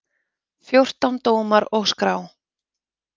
Fjórtán dómar og skrá.